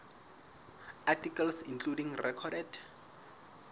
articles including recorded